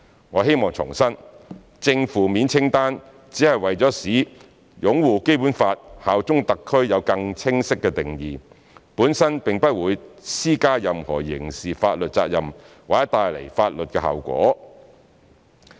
我希望重申，正、負面清單只是為了使"擁護《基本法》、效忠香港特區"有更清晰的定義，本身並不會施加任何刑事法律責任或帶來法律後果。